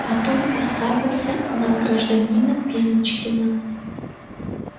потом уставился на гражданина пеночкина